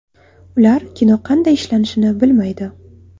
Ular kino qanday ishlanishini bilmaydi.